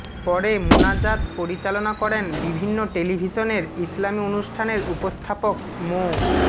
পরে মোনাজাত পরিচালনা করেন বিভিন্ন টেলিভিশনের ইসলামী অনুষ্ঠানের উপস্থাপক মো